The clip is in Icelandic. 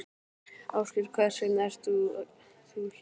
Ásgeir: Hvers vegna ert þú hér í dag?